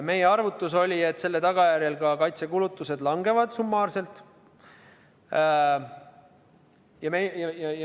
Meie arvutus oli, et selle tagajärjel ka kaitsekulutused summaarselt langevad.